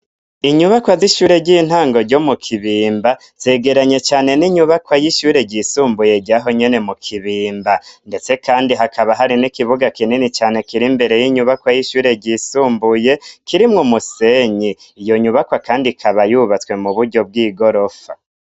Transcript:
Inyubakwa z'ishure ry'intango ryo mu Kibimba zegeranye cane n'inyubakwa y'ishure ryisumbuye ryaho nyene mu Kibimba; ndetse kandi hakaba hari n'ikibuga kinini cane kiri imbere y'inyubakwa y'ishure ryisumbuye kirimwo musenyi. Iyo nyubakwa kandi ikaba yubatswe mu buryo bw'igorofa.